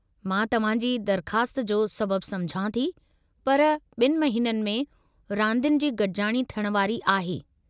मां तव्हां जी दरख़्वास्त जो सबब समुझां थी, पर ॿिनि महीननि में रांदियुनि जी गॾिजाणी थियणु वारी आहे।